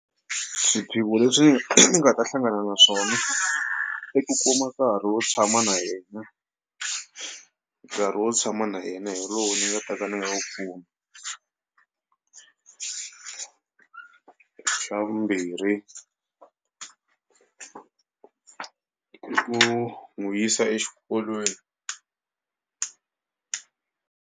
Swiphiqo leswi ni nga ta hlangana naswona i ku kuma nkarhi wo tshama na yena nkarhi wo tshama na yena hi lowu ni nga ta ka ni nga wu kumi xa vumbirhi i ku n'wi yisa exikolweni.